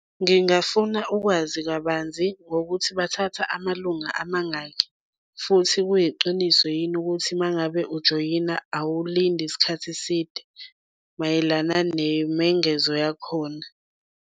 Ngingafuna ukwazi kabanzi ngokuthi bathatha amalunga amangaki futhi kuyiqiniso yini ukuthi uma ngabe ujoyina awulindi isikhathi eside mayelana nemengezo yakhona.